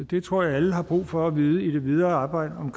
det tror jeg alle har brug for at vide i det videre arbejde om